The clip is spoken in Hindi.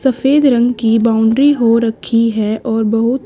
सफेद रंग की बाउंड्री हो रखी है और बहुत--